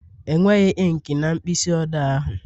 Enweghị inki na mkpịsị odee ahụ